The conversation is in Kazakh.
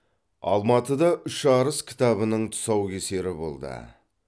алматыда үш арыс кітабының тұсаукесері болды